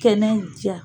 Kɛnɛjɛ